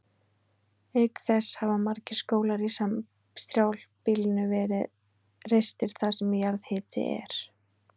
Auk þess hafa margir skólar í strjálbýlinu verið reistir þar sem jarðhiti er.